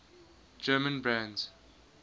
german brands